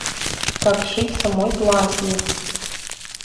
как сшить самой платье